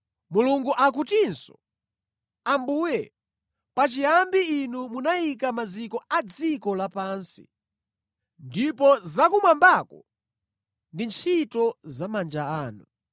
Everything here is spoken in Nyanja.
Mulungu akutinso, “Ambuye, pachiyambi Inu munayika maziko a dziko lapansi; ndipo zakumwambako ndi ntchito za manja anu.